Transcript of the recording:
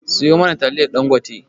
siyo mana taliyar ɗangote